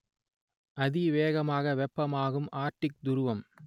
அதிவேகமாக வெப்பமயமாகும் ஆர்க்டிக் துருவம்